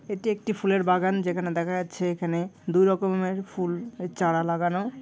এটি একটি ফুলের বাগান যেখানে দেখা যাচ্ছে এখানে দুই রকমের ফুল ও চারা লাগানো।